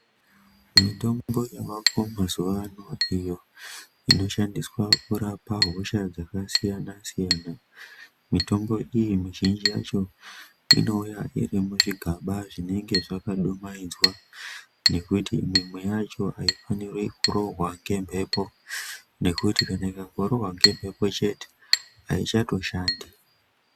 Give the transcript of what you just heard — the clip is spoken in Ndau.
Mitombo yavako mazuva ano iyo inoshandiswa kurapa hosha dzakasiyana-siyana. Mitombo iyi mizhinji yacho inouya iri muzvigaba zvinenge zvakadumaidzwa. Nekuti mumweyacho haifaniri kurohwa nemhepo nekuti kana ikangorohwa ngemhepo chete haichatoshandi.